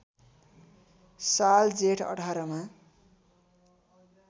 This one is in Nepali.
साल जेठ १८ मा